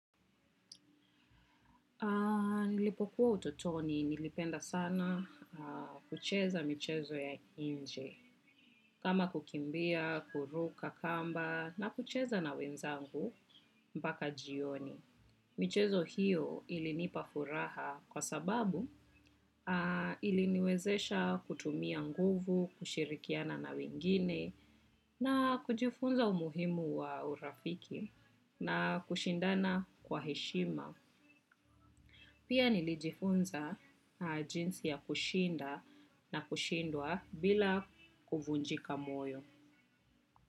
Nilipokuwa utotoni nilipenda sana kucheza michezo ya nje. Kama kukimbia, kuruk kamba na kucheza na wenzangu mpaka jioni. Michezo hiyo ilinipa furaha kwa sababu iliniwezesha kutumia nguvu, kushirikiana na wengine na kujifunza umuhimu wa urafiki na kushindana kwa heshima. Pia nilijifunza jinsi ya kushinda na kushindwa bila kuvunjika moyo.